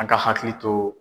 An ka hakili to